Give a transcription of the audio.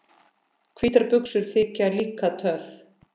Hvítar buxur þykja líka töff.